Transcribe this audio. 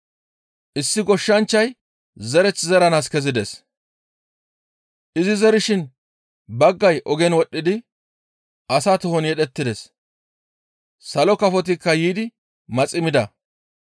«Issi goshshanchchay zereth zeranaas kezides; izi zerishin baggay ogen wodhdhidi asa tohon yedhettides; salo kafotikka yiidi maxi mida;